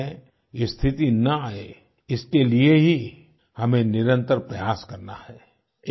भारत में ऐसी स्थिति न आये इसके लिए ही हमें निरंतर प्रयास करना है